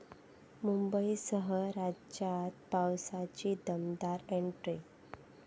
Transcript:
मुंबईसह राज्यात पावसाची दमदार एंट्री